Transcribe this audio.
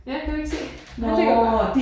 Ja kan du ikke se. Han ligger bare